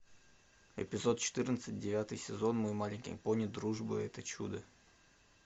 эпизод четырнадцать девятый сезон мой маленький пони дружба это чудо